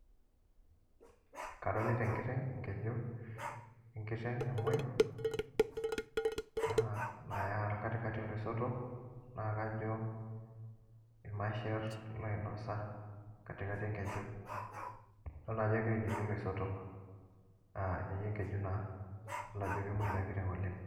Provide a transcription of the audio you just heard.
Adolita enkiteng' enkeju enkiteng' namoi, naya katikati oloisotok, na kajo irmasher loinosa katikati enkeju. Adolta ajo egira ainyeyie loisotok, ah ainyeyie enkeju naa. Adol ajo kemoi ina kiteng' oleng.